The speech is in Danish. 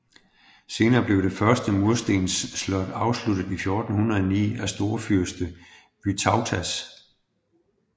Senere blev det første murstensslot afsluttet i 1409 af storfyrste Vytautas